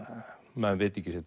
menn vita ekki sitt